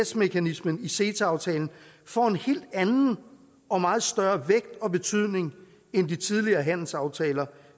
mekanismen i ceta aftalen får en helt anden og meget større vægt og betydning end i de tidligere handelsaftaler